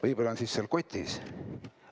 Võib-olla need on seal kotis.